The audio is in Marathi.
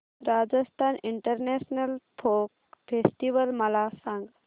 राजस्थान इंटरनॅशनल फोक फेस्टिवल मला सांग